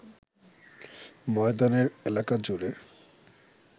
ময়দানের এলাকাজুড়ে